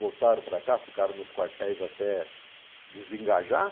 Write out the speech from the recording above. Voltaram para cá, ficaram nos quartéis até desengajar.